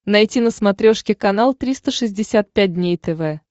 найти на смотрешке канал триста шестьдесят пять дней тв